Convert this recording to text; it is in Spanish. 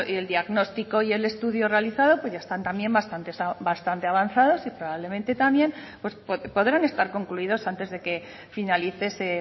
el diagnóstico y el estudio realizado pues ya están también bastante avanzados y probablemente también pues podrán estar concluidos antes de que finalice ese